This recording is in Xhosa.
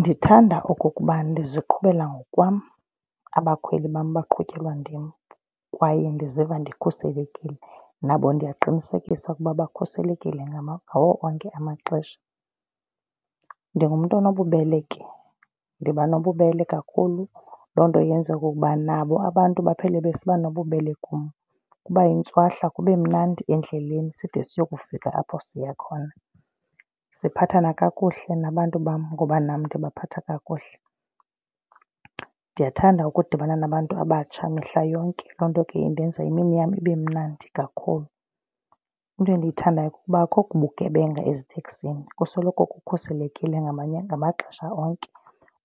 Ndithanda okokuba ndiziqhubela ngokwam, abakhweli bam baqhutyelwa ndim. Kwaye ndiziva ndikhuselekile nabo ndiyaqinisekisa ukuba bakhuselekile ngawo onke amaxesha. Ndingumntu onobubele ke, ndiba nobubele kakhulu, loo nto yenze okokuba nabo abantu baphele besiba nobubele kum. Kuba yintswahla kube mnandi endleleni side siyofika apho siya khona. Siphathana kakuhle nabantu bam ngoba nam ndibaphetha kakuhle. Ndiyathanda ukudibana nabantu abatsha mihla yonke. Loo nto ke indenza yimini yam ibe mnandi kakhulu. Into endiyithandayo kukuba akukho bugebenga eziteksini kusoloko kukhuselekile ngamaxesha onke.